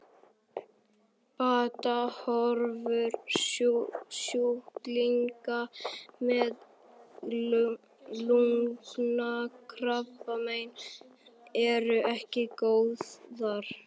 Batahorfur sjúklinga með lungnakrabbamein eru ekki góðar.